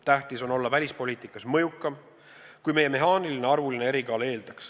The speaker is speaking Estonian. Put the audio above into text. Tähtis on olla välispoliitikas mõjukam, kui meie mehaaniline arvuline erikaal eeldaks.